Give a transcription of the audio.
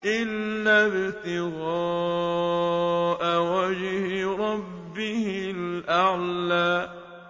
إِلَّا ابْتِغَاءَ وَجْهِ رَبِّهِ الْأَعْلَىٰ إِلَّا ابْتِغَاءَ وَجْهِ رَبِّهِ الْأَعْلَىٰ